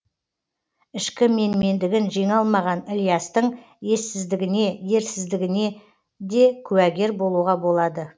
ішкі менмендігін жеңе алмаған ілиястың ессіздігіне ерсіздігіне де куәгер болуға болады